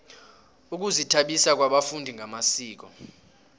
ukuzithabisa kwabafundi ngamasiko